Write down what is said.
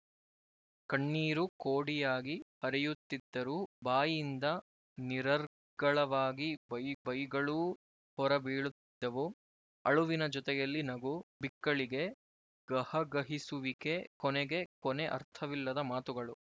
ಕಣ್ಣೀರು ಕೋಡಿಯಾಗಿ ಹರಿಯುತ್ತಿದ್ದರೂ ಬಾಯಿಯಿಂದ ನಿರರ್ಗಳವಾಗಿ ಬೈಗಳೂ ಹೊರ ಬೀಳುತ್ತಿದ್ದುವು ಅಳುವಿನ ಜೊತೆಯಲ್ಲಿ ನಗು ಬಿಕ್ಕಳಿಗೆ ಗಹಗಹಿಸುವಿಕೆ ಕೊನೆಗೆ ಕೊನೆ ಅರ್ಥವಿಲ್ಲದ ಮಾತುಗಳು